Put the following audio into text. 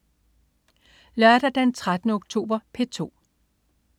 Lørdag den 13. oktober - P2: